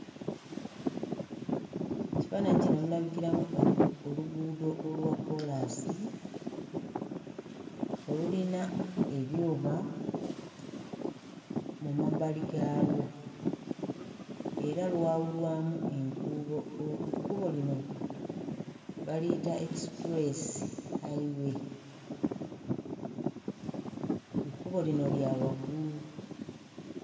Kifaananyi kino mulabikiramu oh oluguudo olwa kkoolaasi olulina ebyuma mu mabbali gaalwo era lwawulwamu enkuubo oh ekkubo lino baliyita Express highway. Ekkubo lino lya waggulu.